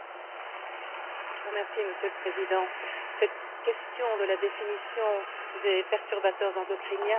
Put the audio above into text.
Monsieur le Président, cette question de la définition des perturbateurs endocriniens est essentielle.